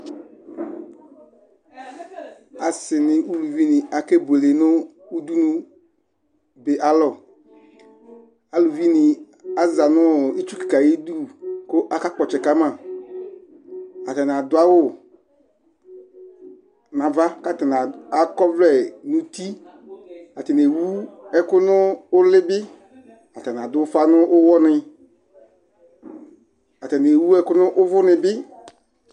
ase ni uluvi ni akebuele no udunu di alɔ aluvi ni aza no itsu keka ayidu k'aka kpɔ ɔtsɛ kama atani ado awu n'ava k'atani akɔ ɔvlɛ n'uti atani ewu ɛkò no uli bi atani ado ufa n'uwɔ ni atani ewu ɛkò n'uvò ni bi